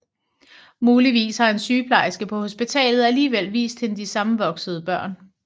Muligvis har en sygeplejerske på hospitalet alligevel vist hende de sammenvoksede børn